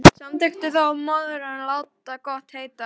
Samþykkti þó að morgni að láta gott heita.